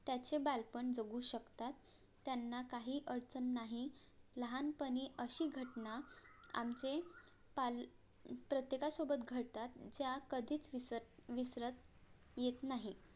त्याचे बालपण जगू शकतात त्यांना काही अडचण नाही लहानपणी अशी घटना आमचे पाल~ प्रत्येका सोबत घडतात ज्या कधीच विसर विसरत येत नाही